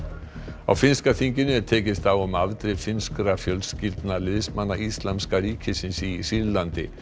á finnska þinginu er tekist á um afdrif finnskra fjölskyldna liðsmanna Íslamska ríkisins í Sýrlandi